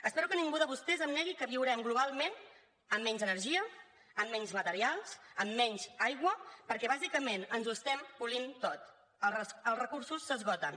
espero que ningú de vostès em negui que viurem globalment amb menys energia amb menys materials amb menys aigua perquè bàsicament ens ho estem polint tot els recursos s’esgoten